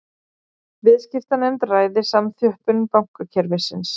Viðskiptanefnd ræði samþjöppun bankakerfisins